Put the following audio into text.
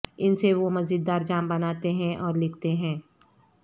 ان سے وہ مزیدار جام بناتے ہیں اور لکھتے ہیں